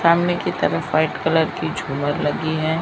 सामने की तरफ व्हाइट कलर की झूमर लगी हैं।